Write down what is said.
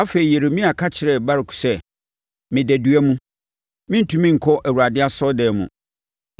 Afei, Yeremia ka kyerɛɛ Baruk sɛ, “Meda dua mu; merentumi nkɔ Awurade asɔredan mu.